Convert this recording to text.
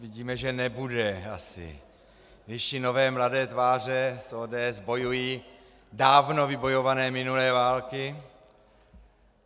Vidíme, že nebude asi, když i nové, mladé tváře z ODS bojují dávno vybojované minulé války.